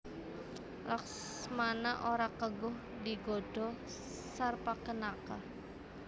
Laksmana ora keguh digodha Sarpakenaka